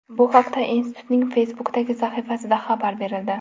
Bu haqda institutning Facebook’dagi sahifasida xabar berildi .